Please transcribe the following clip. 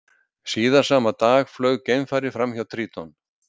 Síðar sama dag flaug geimfarið fram hjá Tríton.